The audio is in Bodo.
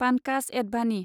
पानकाज एडभानि